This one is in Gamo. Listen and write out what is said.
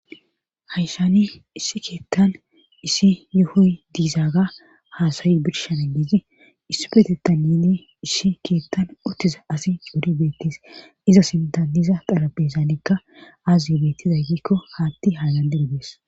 Hayshani issi keettan issi yuhoy diizaaga haasayi birshana giizi issi peteta nini issi keettan ottiza asi couri beettis iza sintaniza qarabeesaanekka aaz beettizay giikko haatti haa danderidees